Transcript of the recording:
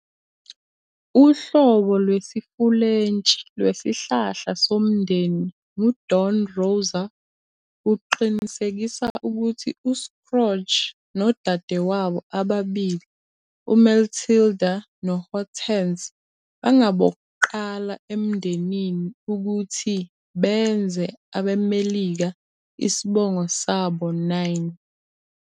Uhlobo lwesiFulentshi lwesihlahla somndeni nguDon Rosa uqinisekisa ukuthi uScrooge nodadewabo ababili, uMatilda noHortense, bangabokuqala emndenini ukuthi "benze abeMelika" isibongo sabo9.